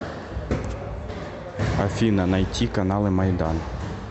афина найти каналы майдан